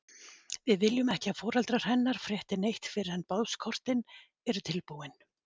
Við viljum ekki að foreldrar hennar frétti neitt fyrr en boðskortin eru tilbúin.